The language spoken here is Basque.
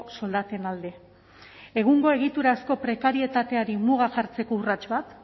soldaten alde egungo egiturazko prekarietateari muga jartzeko urrats bat